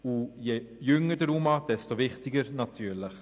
Je jünger der UMA, desto wichtiger ist das natürlich.